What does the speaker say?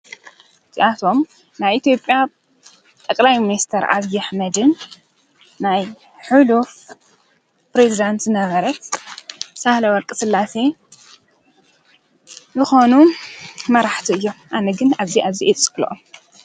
ዚኣኣቶም ናይ ኢቲዮጵያ ጠቕላዩ ምንስተር ኣብይ ኣሕመድንና ናይ ሁሉፍ ፕሬዝዳንቲ ነበረት ሣህለ ወርቂ ሥላሰ ብኾኑ መራሕቱ እዮም ኣነግን እዚ እዙይ የጽክሎኦም።